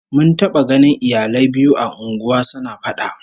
Mun taba ganin iyalai biyu a unguwa suna fada